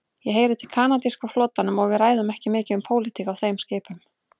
Ég heyri til kanadíska flotanum og við ræðum ekki mikið um pólitík á þeim skipum.